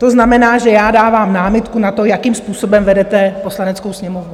To znamená, že já dávám námitku na to, jakým způsobem vedete Poslaneckou sněmovnu.